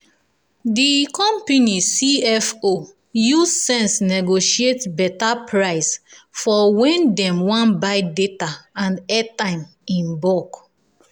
the company c f o use sense negotiate better price for when dem wan buy data and airtime in bulk.